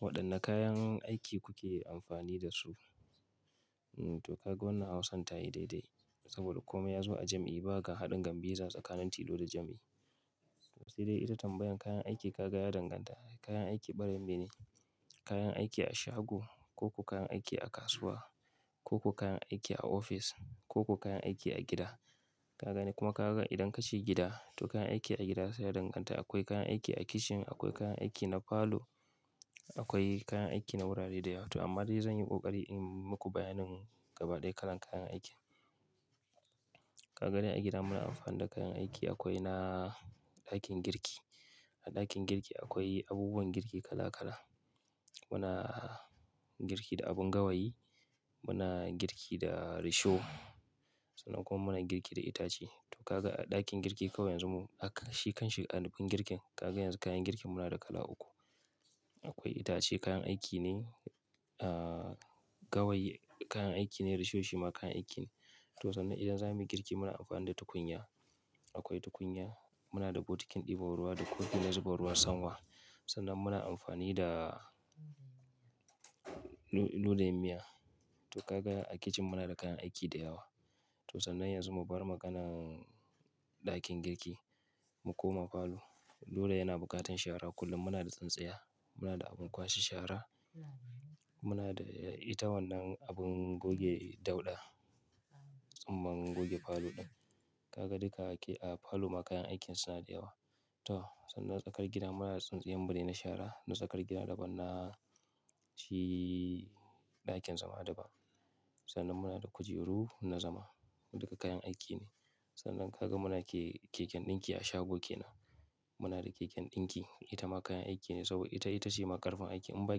Waɗanne kayan aiki kuke amfani da su? To kaga wannan hausan ta yi daidai saboda kome ya zo a jam'i. Ba ga haɗin gambiza tsakanin tilo da jam'i. Sai dai ita tambayan kayan aiki ka ga ya danganta. Kayan aiki barayin mene? Kayan aiki a shago koko kayan aiki a kasuwa koko kayan aiki a ofis koko kayan aiki a gida ka gani kuma ka ga idan kace gida to kayan aiki a gida sai ya danganta. Akwai kayan aiki a kicin, akwai kayan aiki na falo, akwai kayan aiki na wurare da yawa. Amma dai zan yi ƙoƙari in muku bayanin gaba ɗaya kalan kayan aikin. Ka ga dai a gida muna amfani da kayan aiki akwai na ɗakin girki. A ɗakin girki akwai abubuwan girki kala kala. Muna girki da abun gawayi, muna girki da risho sannan kuma muna girki da itace. To ka ga a ɗakin girki kawai yanzu mu, a kan shi kanshi anufin girkin ka ga yanzu kayan girkin muna da kala uku. Akwai itace kayan aiki ne, gawayi kayan aiki ne, risho shi ma kayan aiki ne. To sannan idan za mu yi girki muna amfani da tukunya. Akwai tukunya, muna da bokitin ɗiban ruwa da kofi na zuba ruwa sama. Sannan muna amfani da ludayin miya. To ka ga a kicin muna da kayan aiki da yawa. To sannan yanzu mu bar maganan ɗakin girki mu koma falo. Dole yana bukatan shara kullum. Muna da tsintsiya, muna da abin kwashe shara, muna da ita wannan abin goge dauɗa tsumman goge falo ɗin. Ka ga duka a falo ma kayan aikin suna da yawa. To sannan tsakar gida muna da tsintsiyar bene na shara. Na tsakar gida daban na shi ɗakin zama daban. Sannan muna da kujeru na zama duka kayan aiki ne. Sannan ka ga muna ke keken ɗinki a shago ke nan. Muna da keken ɗinki ita ma kayan aiki ne saboda ita, ita ce ma karfin aiki. In ba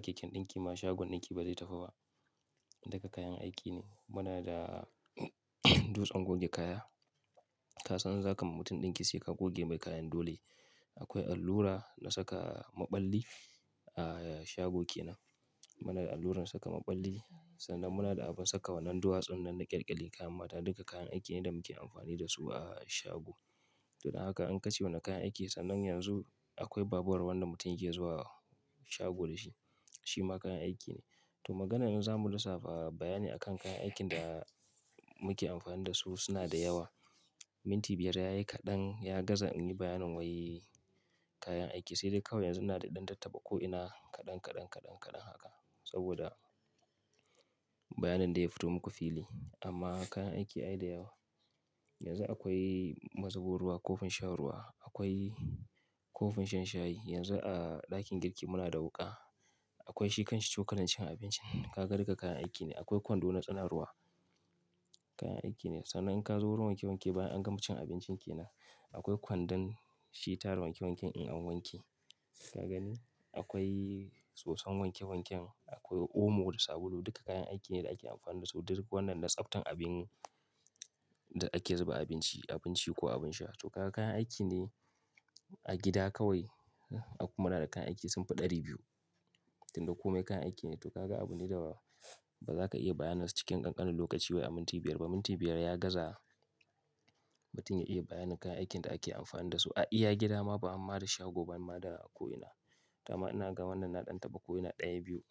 keken ɗinki ma shagon ɗinki ba zai tafi ba. Duka kayan aiki ne. Muna da dutsen goge kaya. Ka san zaka mutu ɗinki sai ka goge mai kayan dole. Akwai allura na saka maɓalli a shago ke nan. Muna da alluran saka maɓalli sannan muna da abin saka wannan duwatsun nan na ƙyalƙyalin kayan mata. Duka kayan aiki ne da muke amfani da su a shago. To da haka in ka ce wanne kayan aiki sannan yanzu akwai babur wanda mutum yake zuwa shago da shi. Shi ma kayan aiki ne. To maganan in zamu lissafa bayani akan kayan aikin da muke amfani da su suna da yawa. Minti biyar ya yi kaɗan, ya gaza in yi bayanin wai kayan aiki. Sai dai kawai yanzu ina dai ɗan tattaɓa ko’ina kaɗan, kaɗan, kaɗan, kaɗan haka saboda bayanin da ya fito muku fili. Amma kayan aiki ai da yawa. Yanzu akwai mazubo ruwa, kofin shan ruwa, akwai kofin shan shayi. Yanzu a ɗakin girki muna da wuƙa. Akwai shi kanshi cokalin cin abincin. Ka ga duka kayan aiki ne. Akwai kwando na tsana ruwa kayan aiki ne. Sannan in ka zo wurin wanke wanke bayan an gama cin abincin ke nan. Akwai kwandon shi tara wanke wanken in an wanke. Ka gani? Akwai soson wanke wanken, akwai omo da sabulu duka kayan aiki ne da ake amfani da su. Duka wannan na tsaftan abin da ake zuba abinci, abinci ko abin sha. To ka ga kayan aiki ne. A gida kawai akwai kuma munada kayan aiki sun fi ɗari biyu. Tun duka kome kayan aiki ne. To ka ga abu ne da ba za ka iya bayyana cikin ƙanƙanin lokaci ba wai a minti biyar ba. Minti biyar ya gaza mutun ya iya bayanin kayan aikin da ake amfani da su a iya gida ma ba hamma da shago ba ma da ko'ina. Da ma ina ga wannan na ɗan tabba ko'ina ɗaya biyu.